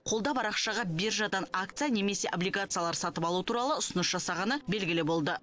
қолда бар ақшаға биржадан акция немесе облигациялар сатып алу туралы ұсыныс жасағаны белгілі болды